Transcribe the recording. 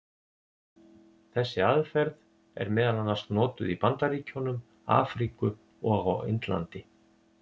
Þessi aðferð er meðal annars notuð í Bandaríkjunum, Afríku og á Indlandi.